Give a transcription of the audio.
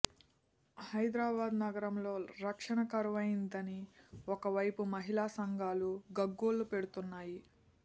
హైదరాబాద్ నగరంలో రక్షణ కరువైందని ఓ వైపు మహిళా సంఘాలు గగ్గోలుపెడుతున్నాయి